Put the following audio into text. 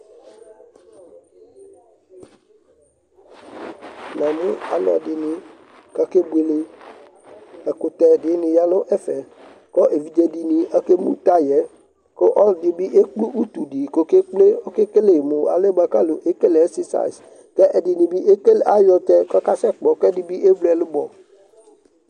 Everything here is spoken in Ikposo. Namʋ ɔlɔdɩnɩ kʋ akebuele Ɛkʋtɛ dɩnɩ ya nʋ ɛfɛ kʋ evidze dɩnɩ akemu taya yɛ kʋ ɔlɔdɩ bɩ ekple utu dɩ ɔkekple Ɔkekele mʋ alɛna yɛ kʋ ekele ɛksɛsayɩs kʋ ɛdɩnɩ bɩ ekele ayɔ ɔtsɛ kʋ akasɛkpɔ kʋ ɛdɩ bɩ evli ɛlʋbɔ